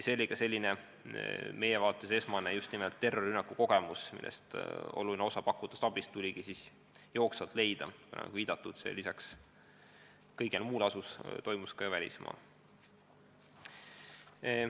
Viimane oli meie vaates esimene terrorirünnaku kogemus, mille puhul oluline osa pakutavast abist tuli jooksvalt lahendada, sest lisaks kõigele muule pandi rünnak toime välismaal.